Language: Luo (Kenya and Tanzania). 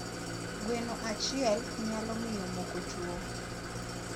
gweno achiel nyalo miyo moko tuo